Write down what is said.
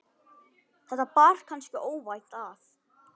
þetta bar kannski óvænt að.